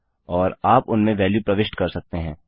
और आप उनमें वेल्यू प्रविष्ट कर सकते हैं